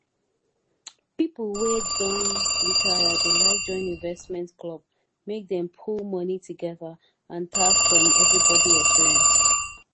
pipo wet don retire dey like join investment club make dem pull money together and tap from everybody experience